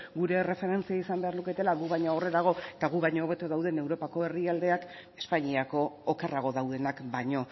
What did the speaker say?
gure erreferentzia izan beharko luketela gu baina aurrerago eta gu baino hobeto dauden europako herrialdeak espainiako okerrago daudenak baino